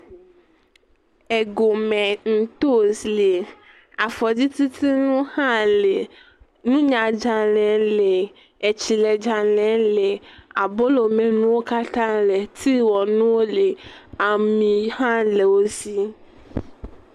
Egome ntos le, afɔdzitutunu hã le, nunyadzale le, etsiledzale le, abolomenuwo katã le, tiwɔnuwo le, ami hã le wo si.